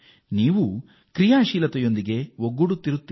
ಈ ಕಾರ್ಯಕ್ರಮದೊಂದಿಗೆ ನೀವೂ ಸೇರಿಕೊಳ್ಳಿ